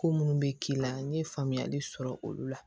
Ko minnu bɛ k'i la n ye faamuyali sɔrɔ olu la